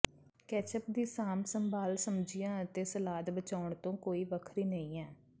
ketchup ਦੀ ਸਾਂਭ ਸੰਭਾਲ ਸਬਜੀਆਂ ਅਤੇ ਸਲਾਦ ਬਚਾਉਣ ਤੋਂ ਕੋਈ ਵੱਖਰੀ ਨਹੀਂ ਹੈ